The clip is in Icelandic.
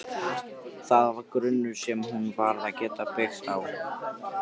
Það var grunnur sem hún varð að geta byggt á.